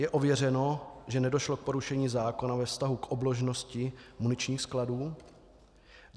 Je ověřeno, že nedošlo k porušení zákona ve vztahu k obložnosti muničních skladů?